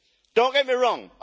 Don't get me wrong.